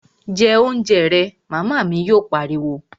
Jẹ oúnjẹ rẹ', Màmá mi yóò pariwo